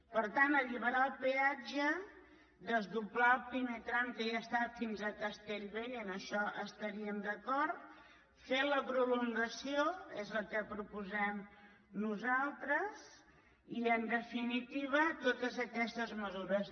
per tant alliberar el peatge desdoblar el primer tram que ja està fins a castellbell i en això hi estaríem d’acord fer la prolongació és el que propo·sem nosaltres i en definitiva totes aquestes mesures